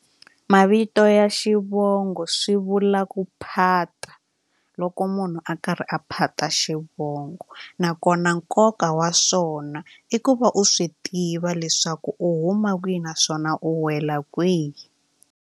Mavito ya xivongo swi vula ku phata loko munhu a karhi a phata xivongo nakona nkoka wa swona i ku va u swi tiva leswaku u huma kwihi naswona u wela kwihi.